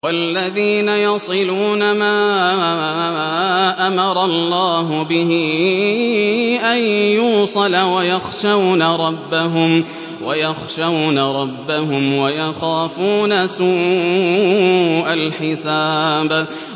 وَالَّذِينَ يَصِلُونَ مَا أَمَرَ اللَّهُ بِهِ أَن يُوصَلَ وَيَخْشَوْنَ رَبَّهُمْ وَيَخَافُونَ سُوءَ الْحِسَابِ